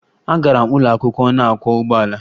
Agara m ụlọ akwụkwọ na-akwọ ụgbọala.